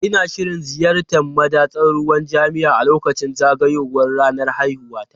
Ina shirin ziyartar madatsar ruwan jami'a a lokacin zagayowar ranar haihuwata.